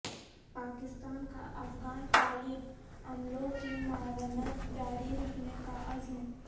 پاکستان کا افغان طالب عملوں کی معاونت جاری رکھنے کا عزم